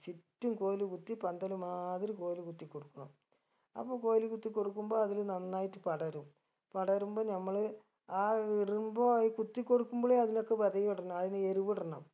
ചുറ്റും കോൽ കുത്തി പന്തല് മാതിരി കോൽ കുത്തിക്കൊടുക്കണം അപ്പൊ കോൽ കുത്തിക്കൊടുക്കുമ്പൊ അതില് നന്നായിട്ട് പടരും പടരുമ്പൊ നമ്മള് ആ വിടരുമ്പൊ ഈ കുത്തിക്കൊടുക്കുമ്പളെ അതിനൊക്കെ വെതയു ഇടണം അയിന് എരുവിടണം